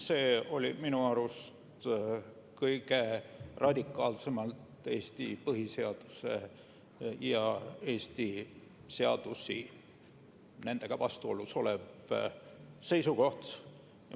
See oli minu arvates kõige radikaalsemalt Eesti põhiseaduse ja Eesti seadustega vastuolus olev seisukoht.